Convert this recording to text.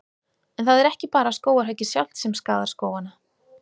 En það er ekki bara skógarhöggið sjálft sem skaðar skógana.